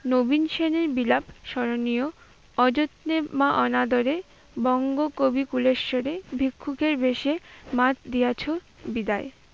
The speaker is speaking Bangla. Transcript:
নবীন সেনের বিলাপ স্মরণীয়, অযত্নে বা অনাদরে বঙ্গ কবি ফুলেশ্বরী ভিক্ষকের বেশে মাত দিয়াছ বিদায়